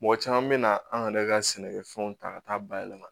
Mɔgɔ caman bɛ na an yɛrɛ ka sɛnɛkɛfɛnw ta ka taa bayɛlɛma